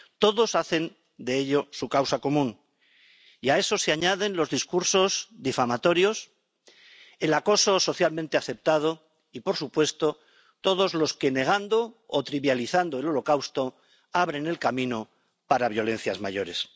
Todos hacen de ello su causa común y a eso se añaden los discursos difamatorios, el acoso socialmente aceptado y, por supuesto, todos los que negando o trivializando el Holocausto abren el camino para violencias mayores.